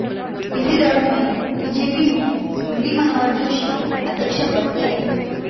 इसी दौर में बीजेपी में मुरली मनोहर जोशी अध्यक्ष बन गए